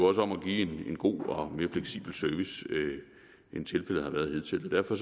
også om at give en god og mere fleksibel service end tilfældet har været hidtil derfor